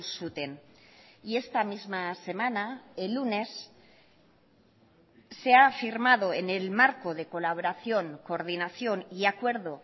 zuten y esta misma semana el lunes se ha firmado en el marco de colaboración coordinación y acuerdo